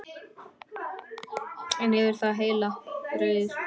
En yfir það heila: Rauður.